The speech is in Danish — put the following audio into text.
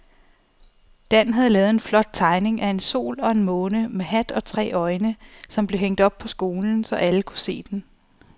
Dan havde lavet en flot tegning af en sol og en måne med hat og tre øjne, som blev hængt op i skolen, så alle kunne se den.